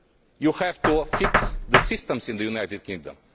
You have to fix the systems in the United Kingdom.